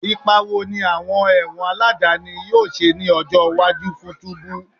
Ipa wo ni awọn ẹwọn aladani yoo ṣe ni ọjọ iwaju ti tubu?